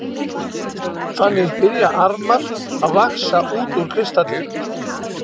Þannig byrja armar að vaxa út úr kristallinum.